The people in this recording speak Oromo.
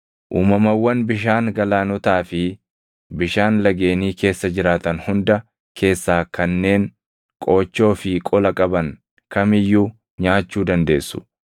“ ‘Uumamawwan bishaan galaanotaa fi bishaan lageenii keessa jiraatan hunda keessaa kanneen qoochoo fi qola qaban kam iyyuu nyaachuu dandeessu.